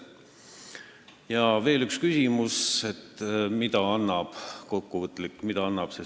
Oli ka üks kokkuvõtlik küsimus, et mida see seaduseelnõu meile annab.